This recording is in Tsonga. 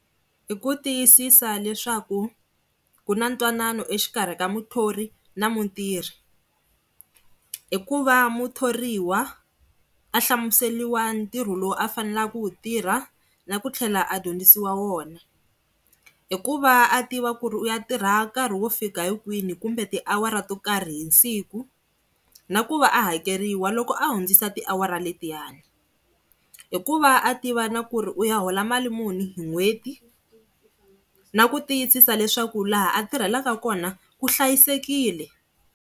Hi ku tiyisisa leswaku ku na ntwanano exikarhi ka muthori na mutirhi hikuva muthoriwa a hlamuseriwa ntirho lowu a faneleke ku tirha na ku tlhela a dyondzisiwa wona. I ku va a tiva ku ri u ya tirha nkarhi wo fika hi kwihi, kumbe tiawara to karhi hi siku na ku va a hakeriwa loko a hundzisa tiawara letiyani. I ku va a tiva na ku ri u ya hola mali muni hi n'hweti na ku tiyisisa leswaku laha a tirhelaka kona ku hlayisekile.